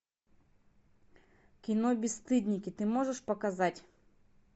кино бесстыдники ты можешь показать